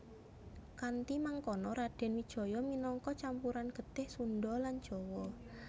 Kanthi mangkono Radèn Wijaya minangka campuran getih Sundha lan Jawa